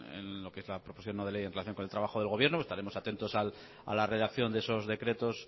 con lo que es la proposición no de ley en relación con el trabajo del gobierno estaremos atentos a la redacción de esos decretos